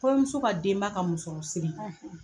Kɔɲɔmuso ka denba ka musɔrɔsiri